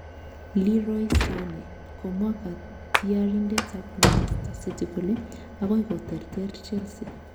Leroy Sane: Komwa katyarindet ab Manchester City kole akoi koterter Chelsea.